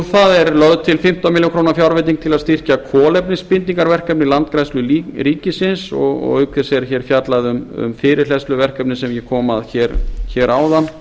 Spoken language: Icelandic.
það er lögð til fimmtán milljónir króna fjárveiting til að styrkja kolefnisbindingarverkefni landgræðslu ríkisins og auk þess er hér fjallað um fyrirhleðsluverkefni sem ég kom að hér áðan